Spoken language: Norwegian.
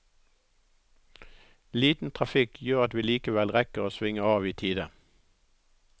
Liten trafikk gjør at vi likevel rekker å svinge av i tide.